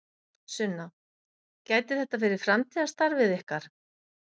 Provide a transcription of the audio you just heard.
Sunna: Gæti þetta verið framtíðarstarfið ykkar?